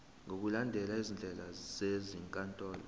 ngokulandela izindlela zezinkantolo